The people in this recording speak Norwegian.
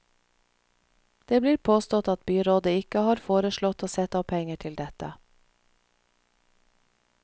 Det blir påstått at byrådet ikke har foreslått å sette av penger til dette.